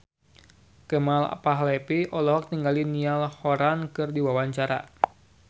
Kemal Palevi olohok ningali Niall Horran keur diwawancara